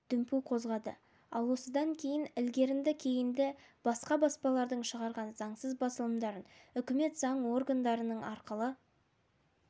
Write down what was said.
дүмпу қозғады ал осыдан кейін ілгерінді-кейінді басқа баспалардың шығарған заңсыз басылымдарын үкімет заң органдарының арқылы